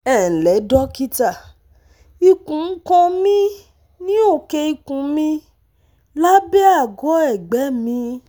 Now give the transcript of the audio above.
Ẹ ǹlẹ́ dókítà, Ikùn ń kan mí ní òkè ikùn mi, lábẹ́ àgọ́ ẹ̀gbẹ́ mi